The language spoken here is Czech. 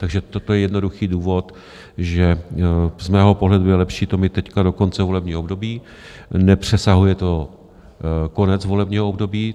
Takže toto je jednoduchý důvod, že z mého pohledu je lepší to mít teď do konce volebního období, nepřesahuje to konec volebního období.